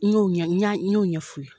N'o ɲɛ y'o ye y'o ɲɛf'u ye